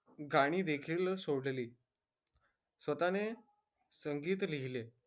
गाणी देखील सोडली. स्वतःने संगीत लिहिले.